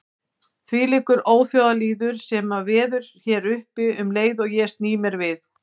Þvílíkur óþjóðalýður sem veður hér uppi um leið og ég sný mér við.